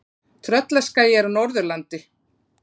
Tröllaskagi er á Norðurlandi.